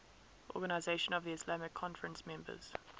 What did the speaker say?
organisation of the islamic conference members